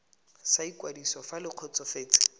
sa ikwadiso fa le kgotsofetse